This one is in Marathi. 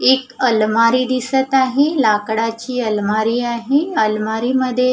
एक अलमारी दिसत आहे लाकडाची अलमारी आहे अलमारी मध्ये --